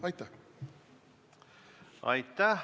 Aitäh!